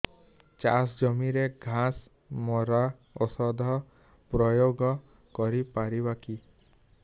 ଚାଷ ଜମିରେ ଘାସ ମରା ଔଷଧ ପ୍ରୟୋଗ କରି ପାରିବା କି